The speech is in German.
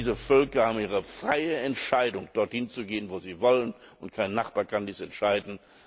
Diese Völker haben ihre freie Entscheidung, dort hinzugehen, wo sie wollen, und kein Nachbar kann dies entscheiden.